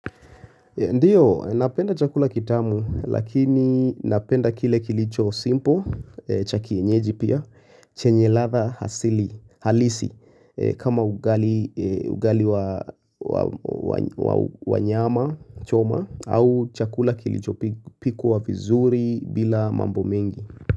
Ndiyo napenda chakula kitamu lakini napenda kile kilicho simpo chakienyeji pia chenye latha halisi kama ugali wanyama choma au chakula kilicho pikwa vizuri bila mambo mengi.